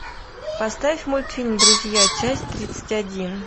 поставь мультфильм друзья часть тридцать один